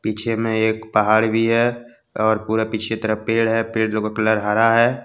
पिछे में एक पहाड़ भी है और पूरा पीछे तरफ पेड़ है पेड़ कलर हरा है।